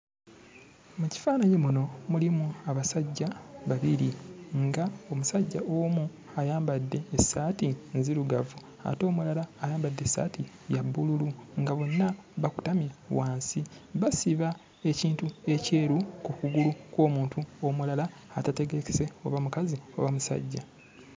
Mu kifaananyi muno mulimu abasajja babiri, ng'omusajja omu ayambadde essaati nzirugavu ate omulala ayambadde essaati ya bbululu nga bonna bakutamye wansi basiba ekintu ekyeru ku kugulu kw'omuntu omulala atategeerekese oba mukazi oba musajja.